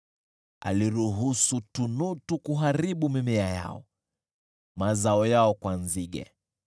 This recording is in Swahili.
Aliruhusu tunutu kuharibu mimea yao, mazao yao kwa nzige.